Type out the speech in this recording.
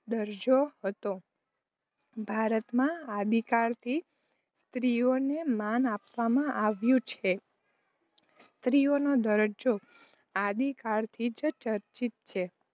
દરજ્જો હતો. ભારત માં આદિકાળ થી, સ્ત્રીઓ ને માન આપવા માં આવ્યું છે. સ્ત્રીઓનો દરજ્જો આદિકાળથી જ ચર્ચિત છે.